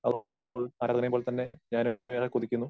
ആ ഉൾ പോലെത്തന്നെ ഞാനും ഏറെ കൊതിക്കുന്നു